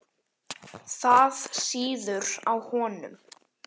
Það sýður á honum.